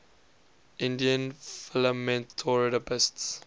indian philanthropists